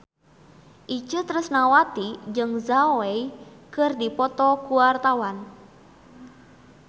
Itje Tresnawati jeung Zhao Wei keur dipoto ku wartawan